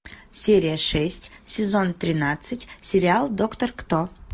серия шесть сезон тринадцать сериал доктор кто